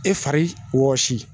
E fari wɔsi